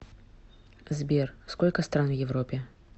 сбер сколько стран в европе